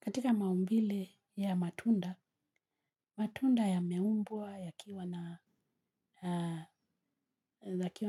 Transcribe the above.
Katika maumbile ya matunda, matunda yameumbwa, yakiwa